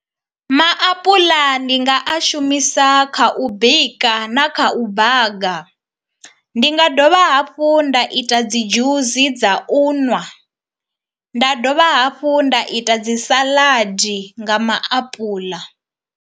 Maapuḽa ndi nga a shumisa kha u bika na kha u baga, ndi nga dovha hafhu nda ita dzi dzhusi dza u ṅwa, nda dovha hafhu nda ita dzi salaḓi nga maapuḽa.